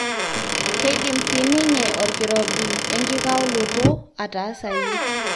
keidim siininye orkirobi enkikaoloto aataasayu.